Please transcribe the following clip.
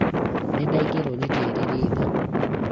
nĩndaingĩrwo nĩ tĩĩr ritho